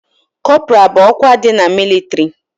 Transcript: Kọpra bụ ọkwa dị na mịlịtrị